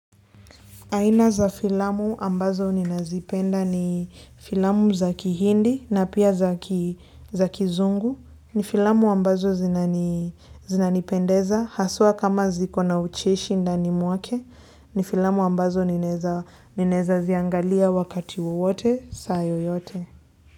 Aina za filamu ambazo ninazipenda ni filamu za kihindi na pia za kizungu. Ni filamu ambazo zinanipendeza. Haswa kama zikona ucheshi ndani mwake. Ni filamu ambazo ninaeza ninaeza ziangalia wakati wowote saa yoyote.